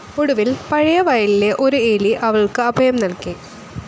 ഒടുവിൽ പഴയ വയലിലെ ഒരു എലി അവൾക്കു അഭയം നൽകി.